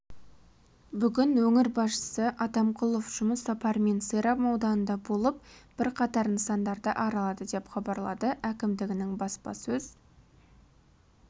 бүгін өңір басшысы атамқұлов жұмыс сапарымен сайрам ауданында болып бірқатар нысандарды аралады деп хабарлады әкімдігінің баспасөз